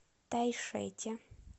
тайшете